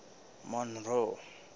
monroe